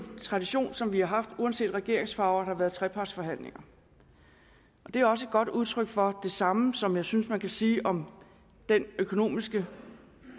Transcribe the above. tradition som vi har haft for uanset regeringsfarve har der været trepartsforhandlinger og det er også et godt udtryk for det samme som jeg synes man kan sige om den økonomiske